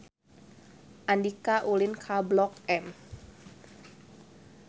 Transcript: Andika ulin ka Blok M